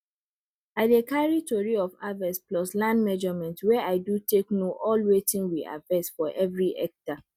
i dey carry tori of harvest plus land measurement wey i do take know all wetin we harvest for everi hectare